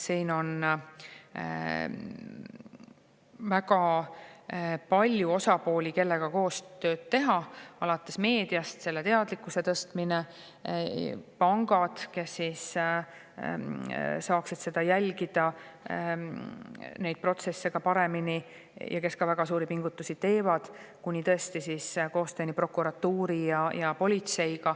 Siin on väga palju osapooli, kellega koostööd teha, alates meediast, kes tõstab teadlikkust; ja pankadest, kes saaksid neid protsesse paremini jälgida ja kes teevad ka väga suuri pingutusi selleks; lõpetades prokuratuuri ja politseiga.